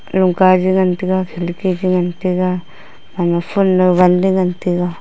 alon ka jungantaga killki chu ngantaga anga full wunley ngantaga.